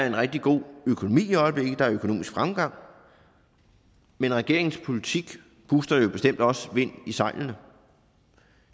en rigtig god økonomi der er økonomisk fremgang men regeringens politik booster den bestemt også vind i sejlene